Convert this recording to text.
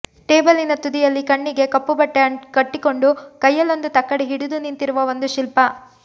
ಟೇಬಲಿನ ತುದಿಯಲ್ಲಿ ಕಣ್ಣಿಗೆ ಕಪ್ಪು ಬಟ್ಟೆ ಕಟ್ಟಿಕೊಂಡು ಕೈಯಲ್ಲೊಂದು ತಕ್ಕಡಿ ಹಿಡಿದು ನಿಂತಿರುವ ಒಂದು ಶಿಲ್ಪ